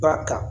Ba kan